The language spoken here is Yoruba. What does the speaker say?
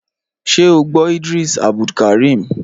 Ṣé o gbọ́ Idris Abdulkareem?